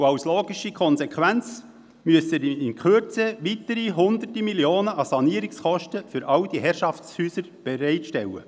Als logische Konsequenz müssen in Kürze weitere Hunderte von Millionen an Sanierungskosten für all diese Herrschaftshäuser bereitgestellt werden.